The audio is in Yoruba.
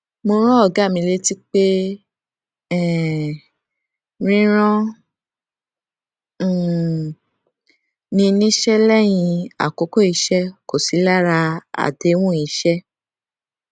mo rán ògá mi létí pé um rírán um ni níṣẹ léyìn àkókò iṣé kò sí lára àdéhùn iṣẹ